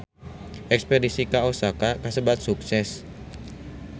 Espedisi ka Osaka kasebat sukses